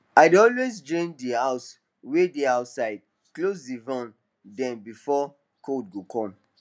i dey always drain d hose wey dey outside close d valve dem before cold go come